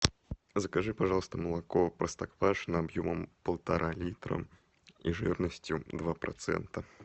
закажи пожалуйста молоко простоквашино объемом полтора литра и жирностью два процента